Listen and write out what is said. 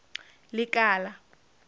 lekala